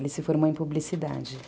Ele se formou em publicidade.